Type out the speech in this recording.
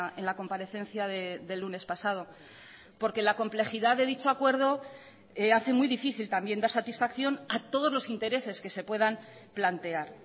en la comparecencia del lunes pasado porque la complejidad de dicho acuerdo hace muy difícil también dar satisfacción a todos los intereses que se puedan plantear